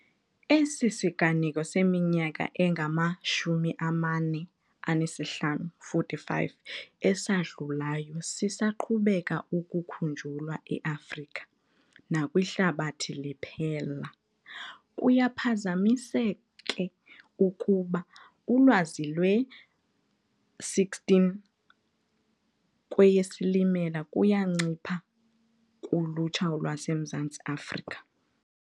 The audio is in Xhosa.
Esi siganeko seminyaka engama-45 esadlulayo sisaqhubeka ukukhunjulwa e-Afrika nakwihlabathi liphela. Kuyaphazamisake ukuba ulwazi lwe-16 kweyeSilimela kuyancipha kulutsha lwaseMzantsi Afrika.